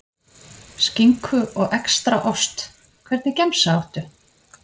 Skinku og extra ost Hvernig gemsa áttu?